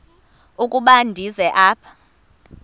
ukuba ndize apha